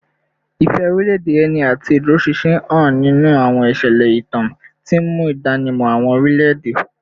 Ìfẹ́ orílẹ̀-èdè ẹni àti ìdúróṣinṣin hàn nínú àwọn ìṣẹ̀lẹ̀ ìtàn, tí ń mú ìdánimọ̀ àwọn orílẹ̀-èdè